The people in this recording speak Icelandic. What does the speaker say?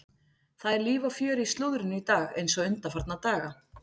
Það er líf og fjör í slúðrinu í dag eins og undanfarna daga.